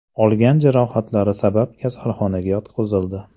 olgan jarohatlari sabab kasalxonaga yotqizildi.